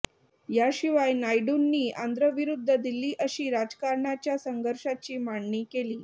या शिवाय नायडूंनी आंध्र विरुद्ध दिल्ली अशी राजकारणाच्या संघर्षाची मांडणी केली